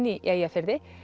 í Eyjafirði